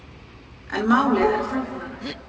En málið er flóknara.